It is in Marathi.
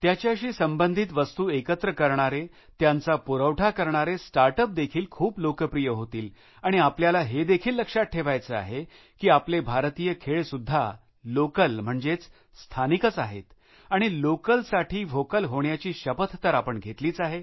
त्याच्याशी संबधित वस्तू एकत्र करणारे त्यांचा पुरवठा करणारे स्टार्टअप देखील खूप लोकप्रिय होतील आणि आपल्याला हे देखील लक्षात ठेवायचं आहे की आपले भारतीय खेळ सुद्धा लोकल म्हणजे स्थानिकच आहेत आणि लोकलसाठी व्होकल होण्याची शपथ तर आपण घेतलीच आहे